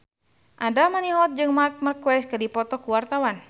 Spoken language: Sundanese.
Andra Manihot jeung Marc Marquez keur dipoto ku wartawan